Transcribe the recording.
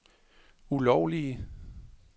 ulovlige